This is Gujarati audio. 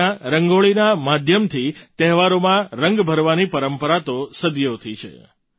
આપણે ત્યાં રંગોળીના માધ્યમથી તહેવારોમાં રંગ ભરવાની પરંપરા તો સદીઓની છે